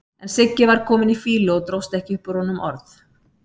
En Siggi var kominn í fýlu og dróst ekki upp úr honum orð.